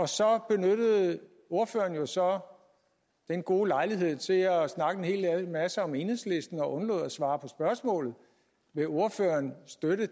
så benyttede ordføreren jo så den gode lejlighed til at snakke en hel masse om enhedslisten og undlod at svare på spørgsmål vil ordføreren støtte